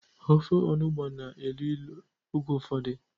Ofe-onugbo na-elu ilu oge ụfọdụ.